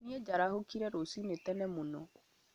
Nĩ njarahũkire rũcinĩ tene mũno